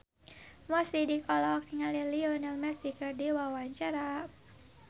Mo Sidik olohok ningali Lionel Messi keur diwawancara